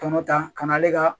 Tɔnɔ ta ka n'ale ka